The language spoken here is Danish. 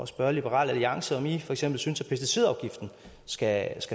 spørge liberal alliance om i for eksempel også synes at pesticidafgiften skal